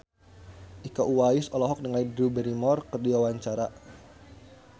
Iko Uwais olohok ningali Drew Barrymore keur diwawancara